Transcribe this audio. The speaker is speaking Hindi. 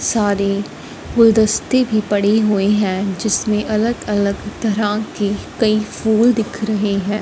सारे गुलदस्ते भी पड़ी हुई हैं जिसमें अलग-अलग तरह की कई फूल दिख रहे हैं।